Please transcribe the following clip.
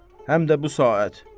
Həm də bu saat.